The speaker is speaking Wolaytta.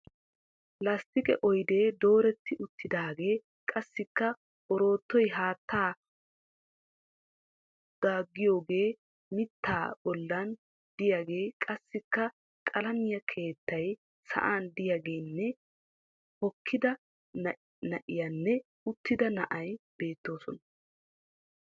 Lasttiqe oydee dooretti uttiidaagee qassiikka oroottoy haattaa dagayiyogee mittaa bollan diyagee qassikka qalamiya keettay sa'an diyagenne hokkida na'iyanne uttida na'ay beettoosona.